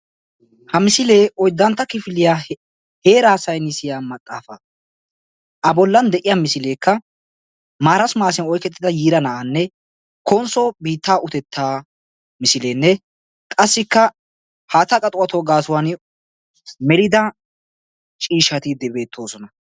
Ha misilee oyddantta kifiliyaa heeraa saynissiyaa maxaafaa. a bollan de'iyaa misileekka marasimasiyaa oyqettida yiira na'aanne konsso biittaa utettaa misileenne qassikka haattaa qaxiwattuwaa gaasuwaani melida ciishshati beettoosona.